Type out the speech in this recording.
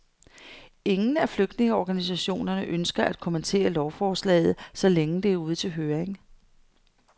Ingen af flygtningeorganisationerne ønsker at kommentere lovforslaget, så længe det er ude til høring.